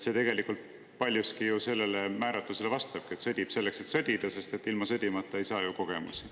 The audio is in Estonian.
See paljuski vastab sellele määratlusele, et sõditakse selleks, et sõdida, sest ilma sõdimata ei saa ju kogemusi.